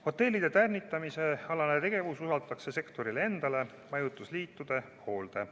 Hotellide tärnitamise alane tegevus usaldatakse sektorile endale, majutusliitude hoolde.